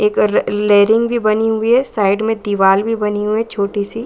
एक रेलिंग भी बनी हुई है साइड में दीवाल भी बनी हुई है छोटी सी।